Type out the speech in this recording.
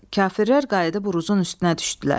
Kafirlər qayıdıb Uruzun üstünə düşdülər.